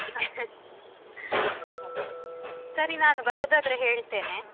ಅಹ್ ಹಾಗೆ ಸರಿ ನಾನು ಬರುದಾದ್ರೆ ಹೇಳ್ತೇನೆ.